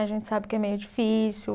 A gente sabe que é meio difícil.